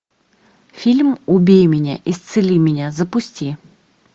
фильм убей меня исцели меня запусти